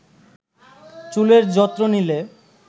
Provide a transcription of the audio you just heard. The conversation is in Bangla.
চুলের যত্ন নিলে